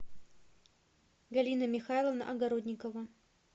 галина михайловна огородникова